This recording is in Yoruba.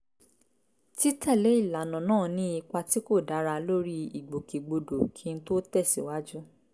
títẹ̀lé ìlànà náà ní ipa tí kò dára lórí ìgbòkègbodò kí n tó tẹ̀ síwájú